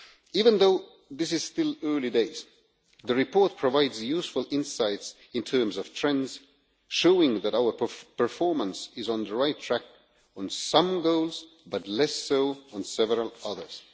Even though this is still early days, the report provides useful insights in terms of trends, showing that our performance is on the right track with some goals, but less so on several others.